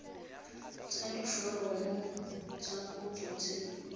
tlatsa diforomo tsa kopo tse